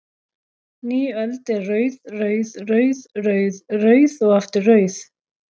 Ný öld er rauð, rauð, rauð, rauð, rauð og aftur rauð?